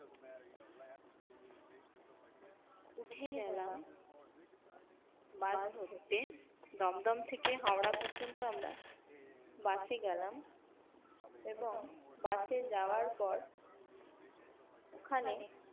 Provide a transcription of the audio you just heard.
উঠে গেলাম বাস ধরতে দমদম থেকে হাওড়া পর্যন্ত আমরা উঠে গেলাম এবং বাসে যাওয়ার পর ওখানে